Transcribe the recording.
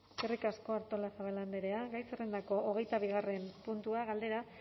euskadi mila esker eskerrik asko artolazabal andrea gai zerrendako hogeita bigarren puntua galdera